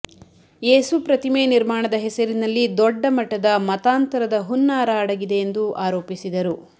ಏಸು ಪ್ರತಿಮೆ ನಿರ್ಮಾಣದ ಹೆಸರಿನಲ್ಲಿ ದೊಡ್ಡಮಟ್ಟದ ಮತಾಂತರದ ಹುನ್ನಾರ ಅಡಗಿದೆ ಎಂದು ಆರೋಪಿಸಿದರು